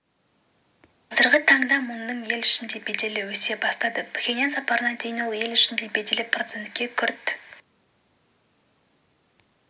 қазіргі таңда мунның ел ішінде беделі өсе бастады пхеньян сапарына дейін ел ішінде беделі процентке күрт